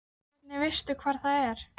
En hvernig veistu hvar það er?